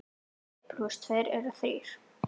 Einn plús tveir eru þrír.